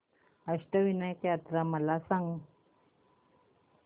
अष्टविनायक यात्रा मला सांग